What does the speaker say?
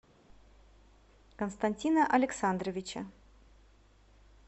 константина александровича